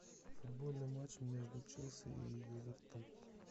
футбольный матч между челси и эвертона